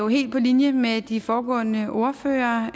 helt på linje med det de foregående ordførere har